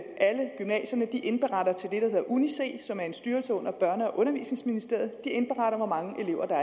alle gymnasierne indberetter til det der hedder uni c som er en styrelse under børne og undervisningsministeriet indberetter hvor mange elever der